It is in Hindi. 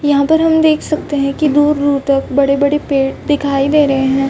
यहाँ पर हम देख सकते है की दूर-दूर तक बड़े-बड़े पेड़ दिखाई दे रहे है।